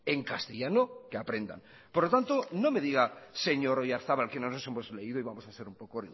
en castellano que aprendan por lo tanto no me diga señor oyarzabal que no nos hemos leído y vamos a hacer un poco